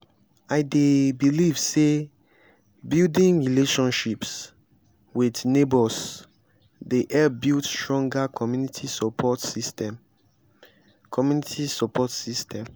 i dey believe say building relationships with neighbors dey help build stronger community support system. community support system.